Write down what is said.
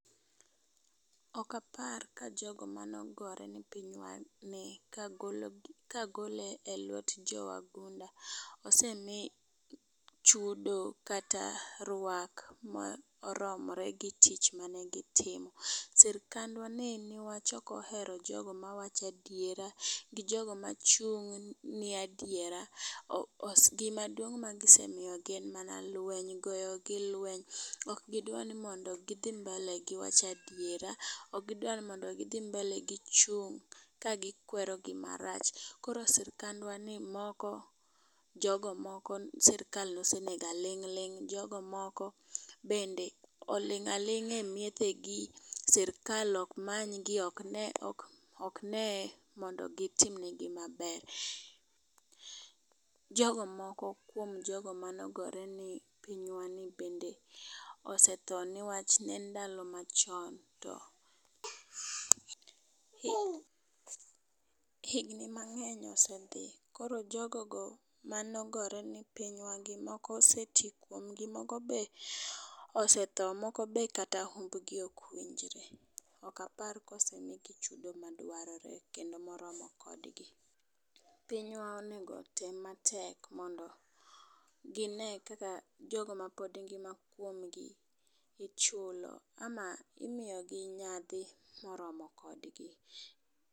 Ok apar ka jogo manogore ne pinywani kagole elwet jowagunda osemii chudo kata rwak maoromore gi tich mane gitimo. sirikandwa ni newachokohero jogo mawacho adiera gi jogo machung ne adiera gimaduong ma gisemiyogi en mana lweny goyo gi lweny ok gidwa ni mondo gi dhi mbele wacha diera okgi dwa ni mondo gi dhi mbele gi chung ka gikwero gima rach koro sirikandwa ni moko jogo moko sirikal nosenego aling ling jogo moko bende oling aling a miethe gi sirikal ok manygi ,ok ne ni mondo gitimnegi maber jogo moko kuom jogo manogore ne pinywani bende osetho ne wachne ndalo machon to higni mangeny osedhi koro jogo go manogore ne pinywani moko oseti kuomgi moko be osethoo moko be kata umbgi ok winjre okapar kosemige chudo madwarore kendo morome kodgi. pinywa onego otem matek mondo gine ni jogo mapod ngima kuomgi ichulo ama imiyo gi nyadhi moromo kodgi